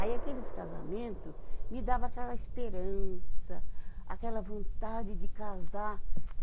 Aí aqueles casamento me dava aquela esperança, aquela vontade de casar.